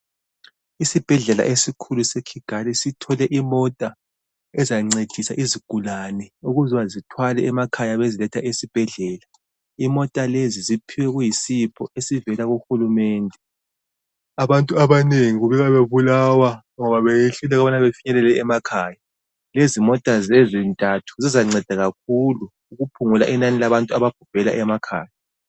Isibhedlela esikhulu ese Kigali sithole imota ezancedisa izigulane ukuze zithwale emakhaya beziletha ezibhedlela imota lezi ziphiwe kuyisipho esivela kuhulumende abantu abanengi kubukeka bebulawa ngoba beyehluleka ukuba befinyelele emakhaya lezimota zontathu zizanceda kakhulu ukuphungula inani labantu ababhubhela emakhaya